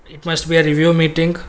it must be a review meeting.